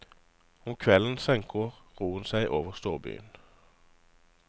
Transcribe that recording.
Om kvelden senker roen seg over storbyen.